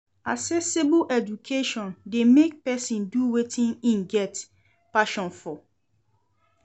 Accessible education de make persin do wetin im get passion for